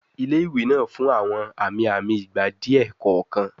Ile-iwe naa fun awọn ami-ami igba diẹ kọọkan